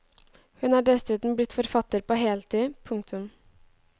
Hun er dessuten blitt forfatter på heltid. punktum